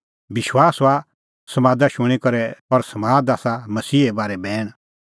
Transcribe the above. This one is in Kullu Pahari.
विश्वास हआ समाद शूणीं करै और समाद आसा मसीहे बारै बैण